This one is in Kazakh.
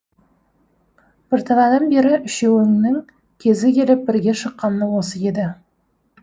бірталайдан бері үшеуінің кезі келіп бірге шыққаны осы еді